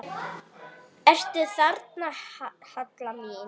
Ertu þarna, Halla mín?